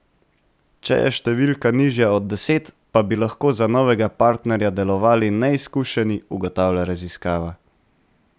Če je številka nižja od deset, pa bi lahko za novega partnerja delovali neizkušeni, ugotavlja raziskava.